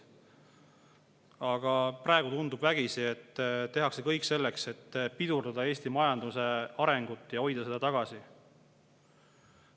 Aga praegu tundub vägisi, et tehakse kõik selleks, et pidurdada Eesti majanduse arengut ja hoida seda tagasi.